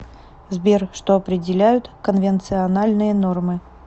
сбер что определяют конвенциональные нормы